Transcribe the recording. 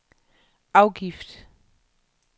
afgift